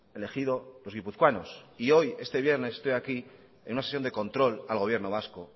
elegido los guipuzcoanos y hoy este vienes estoy aquí en una sesión de control al gobierno vasco